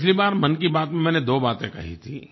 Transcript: पिछली बार मन की बात में मैंने दो बातें कही थीं